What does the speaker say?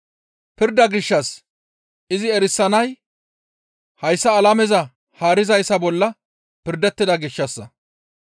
Pirda gishshas izi erisanay hayssa alameza haarizayssa bolla pirdettida gishshassa.